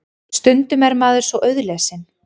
Stundum er maður svo auðlesinn.